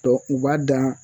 Dɔ u b'a dan